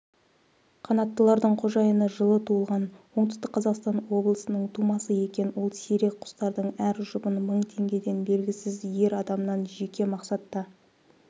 қанаттылардың қожайыны жылы туылған оңтүстік қазақстан облысының тумасы екен ол сирек құстардың әр жұбын мың теңгеден белгісіз ер адамнан жеке мақсатта